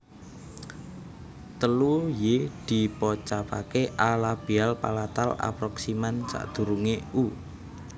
Telu y dipocapaké a labial palatal approximant sadurungé u